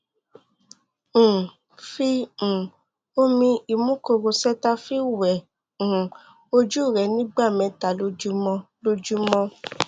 um fi um omi imúkorò cetaphil wẹ̀ um ojú rẹ ní ìgbà mẹ́ta lójúmọ́ lójúmọ́